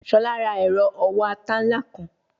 Shola ra ero owo ata nla kan